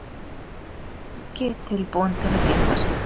Ekki tilbúin til að gifta sig